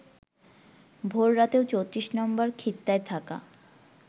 ভোর রাতে ৩৪ নম্বর খিত্তায় থাকা